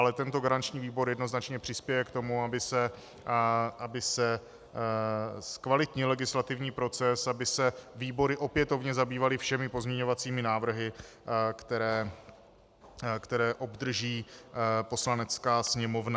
Ale tento garanční výbor jednoznačně přispěje k tomu, aby se zkvalitnil legislativní proces, aby se výbory opětovně zabývaly všemi pozměňovacími návrhy, které obdrží Poslanecká sněmovna.